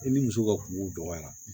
E ni muso ka kungo dɔgɔyara